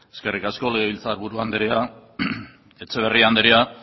eskerrik asko legebiltzarburu andrea etxeberria andrea